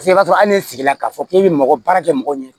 Paseke i b'a sɔrɔ hali n'i sigila k'a fɔ k'i bɛ mɔgɔ baara kɛ mɔgɔw ɲɛ